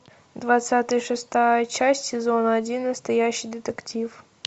двадцать шестая часть сезона один настоящий детектив